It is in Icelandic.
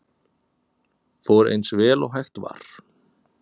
Fór eins vel og hægt var